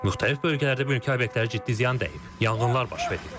Müxtəlif bölgələrdə mülki obyektlərə ciddi ziyan dəyib, yanğınlar baş verib.